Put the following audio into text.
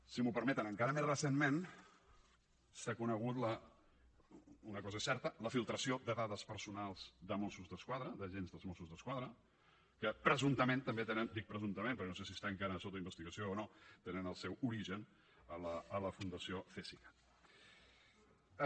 si m’ho permeten encara més recentment s’ha conegut una cosa que és certa la filtració de dades personals de mossos d’esquadra d’agents dels mossos d’esquadra que presumptament també tenen dic presumptament perquè no sé si està encara sota investigació o no el seu origen a la fundació cesicat